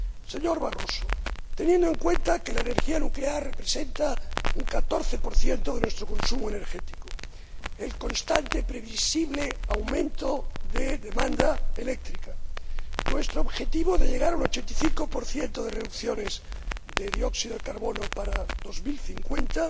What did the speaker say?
Señor Barroso teniendo en cuenta que la energía nuclear representa un catorce por ciento de nuestro consumo energético, el constante y previsible aumento de la demanda eléctrica y nuestro objetivo de llegar a un 85 de reducciones de dióxido de carbono para 2050,